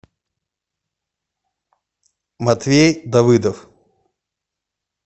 матвей давыдов